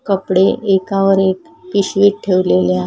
कपडे एकावर एक पिशवीत ठेवलेले आ--